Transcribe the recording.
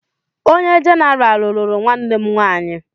Onye jenaraal lụrụ nwanne m nwaanyị.